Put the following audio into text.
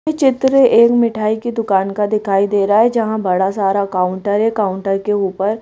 ये चित्र एक मिठाई की दुकान का दिखाईं दे रहा है जहां बड़ा सारा काउंटर है। काउंटर के ऊपर --